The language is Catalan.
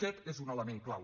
aquest és un element clau